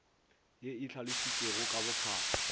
ye e hlalositšwego ka bophara